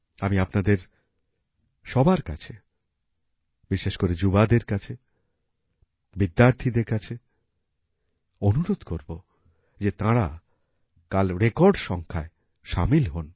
আমি আপনাদের সবার কাছে বিশেষ করে যুবাদের কাছে বিদ্যার্থীদের কাছে অনুরোধ করব যে তাঁরা কাল রেকর্ড সংখ্যায় শামিল হোন